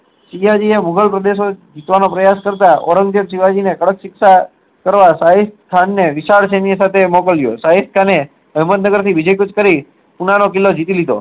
ભૂગોળ પ્રદેશો જીતવાનું પ્રયાસ કરતા ઓરંગઝેબ શિવાજી ને કડક શિક્ષા કરવા સહી સ્થાન ને વિશાલ સેન્ય ને સાથે મોકલીયો સહી ખાન ને હેમંત નગર થી વિજય કુંજ કરી ને પુના નો કિલ્લો જીતી લીધો